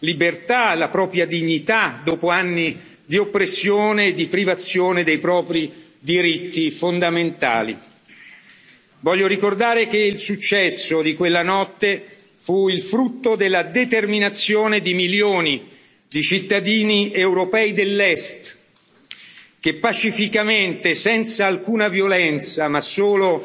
libertà e la propria dignità, dopo anni di oppressione e di privazione dei propri diritti fondamentali. Voglio ricordare che il successo di quella notte fu il frutto della determinazione di milioni di cittadini europei dell'Est che pacificamente, senza alcuna violenza, ma